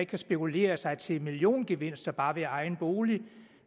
kan spekulere sig til milliongevinster bare ved at eje en bolig